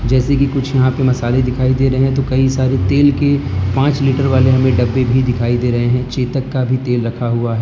जैसे कि कुछ यहां पे मसाले दिखाई दे रहे है तो कई सारे तेल के पांच लीटर वाले हमें डब्बे भी दिखाई दे रहे है चेतक का भी तेल रखा हुआ है।